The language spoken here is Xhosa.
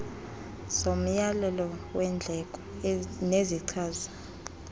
zomyalelo weendleko nezichaza